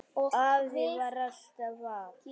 Afi var alltaf að.